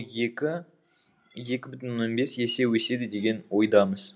екі екі бүтін оннан бес есе өседі деген ойдамыз